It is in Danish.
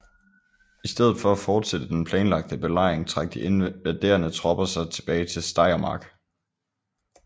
I stedet for at fortsætte den planlagte belejring trak de invaderende tropper sig tilbage til Steiermark